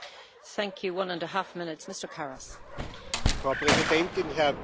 Frau Präsidentin, Herr Kommissionspräsident, lieber Michel Barnier!